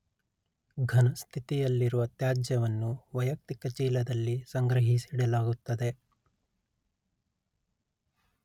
ಘನಸ್ಥಿತಿಯಲ್ಲಿರುವ ತ್ಯಾಜ್ಯವನ್ನು ವೈಯಕ್ತಿಕ ಚೀಲದಲ್ಲಿ ಸಂಗ್ರಹಿಸಿಡಲಾಗುತ್ತದೆ